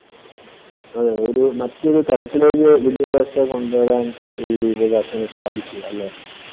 അതേയതെ. ഒരു മറ്റൊരു തലത്തിലേക്ക് വിദ്യാഭ്യാസത്തെ കൊണ്ടുവരാൻ ഈ വിദ്യാഭ്യാസത്തിനു സാധിച്ചു അല്ലേ?